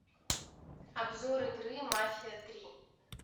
обзор игры мафия три